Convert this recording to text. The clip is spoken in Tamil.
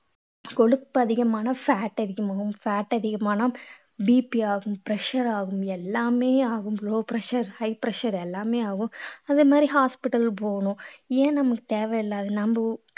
கொழுப்பு அதிகமான fat அதிகமாகும் fat அதிகமானா BP ஆகும் pressure ஆகும் எல்லாமே ஆகும் low pressure high pressure எல்லாமே ஆகும் அதே மாதிரி hospital போகணும் ஏன் நம்மளுக்கு தேவையில்லாதது நம்ம